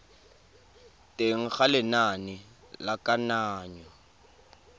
teng ga lenane la kananyo